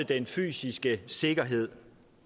den fysiske sikkerhed